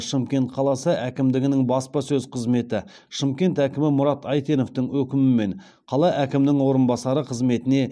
шымкент қаласы әкімдігінің баспасөз қызметі шымкент әкімі мұрат әйтеновтің өкімімен қала әкімінің орынбасары қызметіне